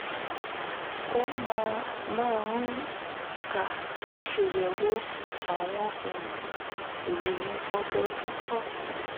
ó máa máa ń kà ṣèyẹ̀wò àwọn um ìròyìn ọdọọdún kọ́